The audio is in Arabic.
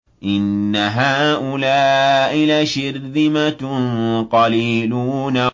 إِنَّ هَٰؤُلَاءِ لَشِرْذِمَةٌ قَلِيلُونَ